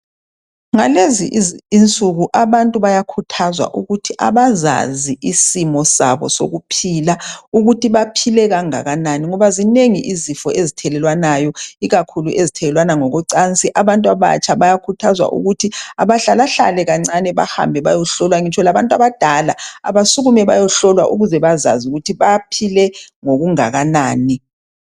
Ngalezi insuku abantu bayakhuthazwa ukuthi bazazi isimo sabo sokuphila ukuthi baphile kangakanani ngoba zinengi izifo ezithelelwanayo ikakhulu ezithelelwana ngocansi abantu abatsha bayakhuthazwa ukuthi abahlalahlale kancane bahambe bayohlolwa ngitsho labantu abadala abasukume bayohlola ukuze bazazi ukuthi baphile ngokungakanani.